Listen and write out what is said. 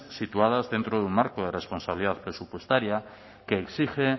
situadas dentro de un marco de responsabilidad presupuestaria que exige